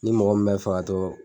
Ni mɔgɔ min bɛ fɛ ka to.